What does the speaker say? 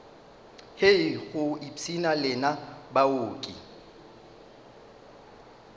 hei go ipshina lena baoki